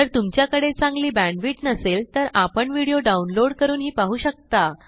जर तुमच्याकडे चांगली बॅण्डविड्थ नसेल तर आपण व्हिडिओ डाउनलोड करूनही पाहू शकता